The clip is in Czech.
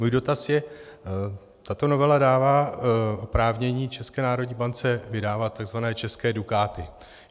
Můj dotaz je: Tato novela dává oprávnění České národní bance vydávat tzv. české dukáty.